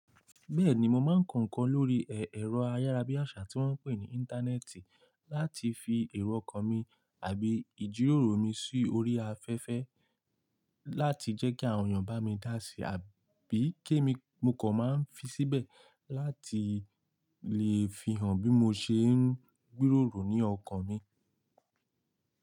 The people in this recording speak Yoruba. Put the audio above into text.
Bẹ́ẹ̀ni, mo máa ń kọ ǹkan lórí ẹ̀rọ ayárabíàṣá tí wọ́n ń pè ní Íńtánẹ́ẹ̀tì láti fi èrò ọkàn mi àbí ìjíròrò mi sí orí afẹ́fẹ́ láti jẹ́ kí àwọn èèyàn bá mi dá sií àbí kí mo kan máa ń fi síbẹ̀ láti lè fi hàn bí mo ṣe ń gbèrò ní ọkàn mi.